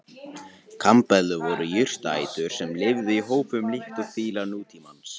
Kambeðlur voru jurtaætur sem lifðu í hópum líkt og fílar nútímans.